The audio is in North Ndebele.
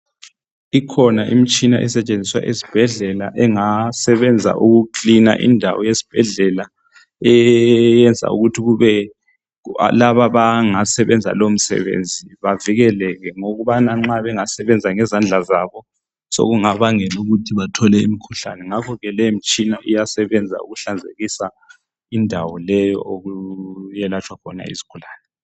Ikhona imitshina esetshenziswa ezibhedlela engasebenza ukukilina indawo esibhedlela eyenza ukuthi laba abangesebenza lo msebenzi bavikeleke ngokubana nxa bengasebenza ngezandla zabo sokungabangela ukuthi bathola imikhuhlane ngakho ke le imitshina iyasebenza ukuhlanzekusa indawo okulatshwa khona izigulane.